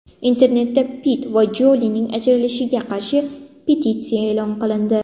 Internetda Pitt va Jolining ajrashishiga qarshi petitsiya e’lon qilindi.